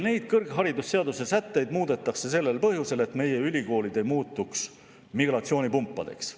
Neid kõrgharidusseaduse sätteid muudetakse sellel põhjusel, et meie ülikoolid ei muutuks migratsioonipumpadeks.